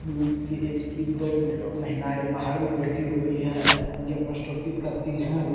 म की ऐज की दो महिलाएं बाहड़ में बैठी हुई है ये पोस्ट ऑफिस का सीन है।